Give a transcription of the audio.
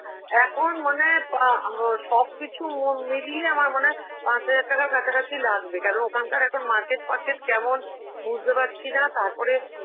এখন মনে হয়, পা~ আহ, সবকিছু মিলিয়ে আমার মনে হয় পাঁচ হাজার টাকার কাছাকাছি লাগবে, কারণ ওখানকার এখন market purchase কেমন বুঝতে পারছি না, তারপরে